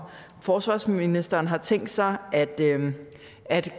forsvarsministeren har tænkt sig at